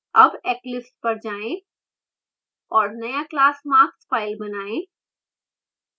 अब eclipse पर जाएँ और now class marksfile बनाएँ